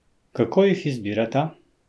Kako jih izbirata?